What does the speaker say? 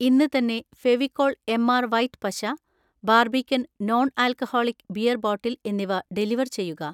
ഇന്ന് തന്നെ Fevicol MR white പശ, ബാർബിക്കൻ നോൺ-ആൽക്കഹോളിക് ബിയർ ബോട്ടിൽ എന്നിവ ഡെലിവർ ചെയ്യുക